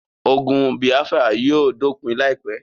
Ogun bìáfírà yóò dópin láìpé